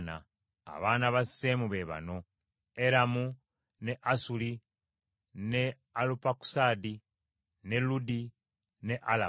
Abaana ba Seemu be bano: Eramu, ne Asuli, ne Alupakusaadi, ne Ludi ne Alamu.